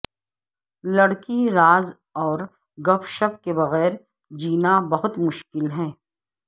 لڑکی راز اور گپ شپ کے بغیر جینا بہت مشکل ہے